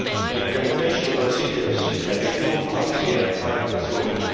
Implementation procedures can be too clumsy and time consuming.